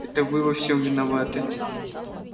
это вы во всем виноваты